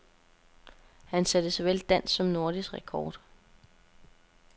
Han satte såvel dansk som nordisk rekord.